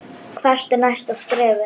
Hvert er næsta skrefið?